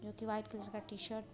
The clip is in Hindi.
जो की व्हाइट कलर का टी-शर्ट --